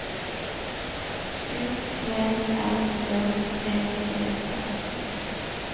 U T L Ø P E T